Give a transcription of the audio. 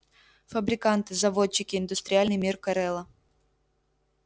фабриканты заводчики индустриальный мир корела